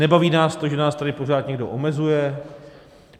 Nebaví nás to, že nás tady pořád někdo omezuje.